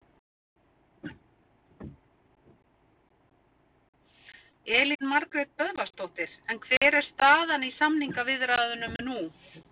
Elín Margrét Böðvarsdóttir: En hver er staðan í samningaviðræðunum nú?